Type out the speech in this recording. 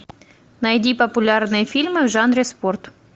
найди популярные фильмы в жанре спорт